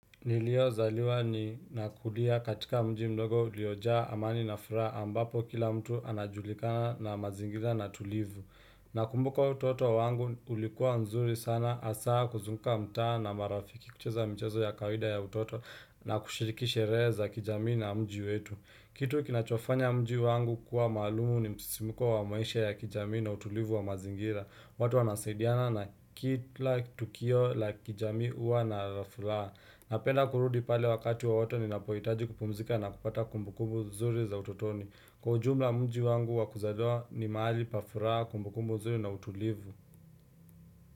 Niliozaliwa ni nakulia katika mji mdogo uliojaa amani na furaha ambapo kila mtu anajulikana na mazingira na tulivu. Nakumbuka utoto wangu ulikuwa nzuri sana asaa kuzunga mtaa na marafiki kucheza mchezo ya kawida ya utoto na kushiriki sherehe za kijamii na mji wetu. Kitu kinachofanya mji wangu kuwa malumu ni msisimuko wa maisha ya kijami na utulivu wa mazingira. Watu wanasaidiana na kitla tukio la kijami uwa na rafulaa. Napenda kurudi pale wakati wowote ninapoitaji kupumzika na kupata kumbukumbu nzuri za utotoni. Kwa ujumla mji wangu wa kuzaliwa ni maali pa furaha kumbu kumbu zuri na utulivu.